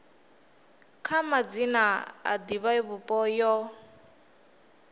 kha madzina a divhavhupo yo